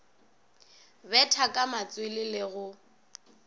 betha ka matswele le go